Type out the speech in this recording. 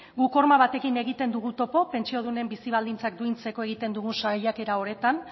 guk horma batekin egiten dugu topo pentsiodunen bizi baldintzak duintzeko egiten dugu saiakera hauetan